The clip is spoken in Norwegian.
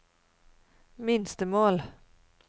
minstemål